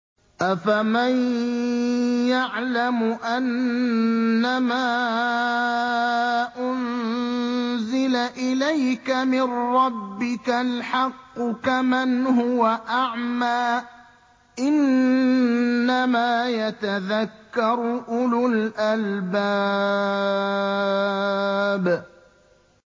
۞ أَفَمَن يَعْلَمُ أَنَّمَا أُنزِلَ إِلَيْكَ مِن رَّبِّكَ الْحَقُّ كَمَنْ هُوَ أَعْمَىٰ ۚ إِنَّمَا يَتَذَكَّرُ أُولُو الْأَلْبَابِ